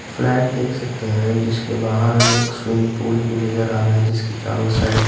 flat देख सकते हैं जिसके बाहर हमें एक स्विंग पूल भी नजर आ रहा है जिसके चारों साइड --